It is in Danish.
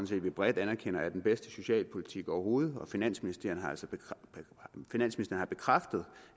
set vi bredt anerkender er den bedste socialpolitik overhovedet og finansministeren har bekræftet